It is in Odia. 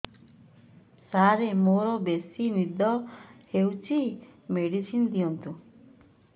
ସାର ମୋରୋ ବେସି ନିଦ ହଉଚି ମେଡିସିନ ଦିଅନ୍ତୁ